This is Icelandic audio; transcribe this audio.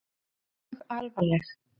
Þau voru mjög alvarleg.